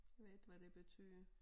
Ved ikke havd det betyder